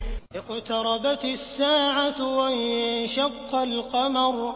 اقْتَرَبَتِ السَّاعَةُ وَانشَقَّ الْقَمَرُ